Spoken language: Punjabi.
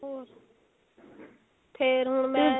ਹੋਰ ਫੇਰ ਹੁਣ ਮੈਂ